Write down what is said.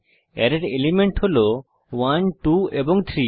অ্যারের এলিমেন্ট হল 12 এবং 3